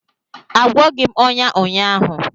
Agwọghị m ọnya ụnyaahụ